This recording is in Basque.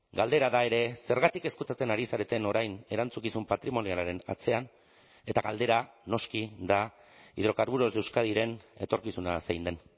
galdera da ere zergatik ezkutatzen ari zareten orain erantzukizun patrimonialaren atzean eta galdera noski da hidrocarburos de euskadiren etorkizuna zein den